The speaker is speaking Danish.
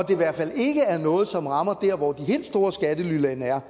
i hvert fald ikke er noget som rammer der hvor de helt store skattelylande er